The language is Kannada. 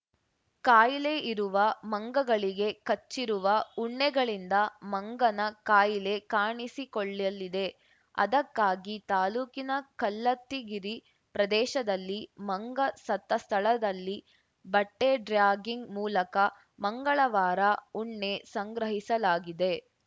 ಕಾಯಿಲೆ ಇರುವ ಮಂಗಗಳಿಗೆ ಕಚ್ಚಿರುವ ಉಣ್ಣೆಗಳಿಂದ ಮಂಗನ ಕಾಯಿಲೆ ಕಾಣಿಸಿಕೊಳ್ಳಲಿದೆ ಅದಕ್ಕಾಗಿ ತಾಲೂಕಿನ ಕಲ್ಲತ್ತಿಗಿರಿ ಪ್ರದೇಶದಲ್ಲಿ ಮಂಗ ಸತ್ತ ಸ್ಥಳದಲ್ಲಿ ಬಟ್ಟೆಡ್ರ್ಯಾಗಿಂಗ್‌ ಮೂಲಕ ಮಂಗಳವಾರ ಉಣ್ಣೆ ಸಂಗ್ರಹಿಸಲಾಗಿದೆ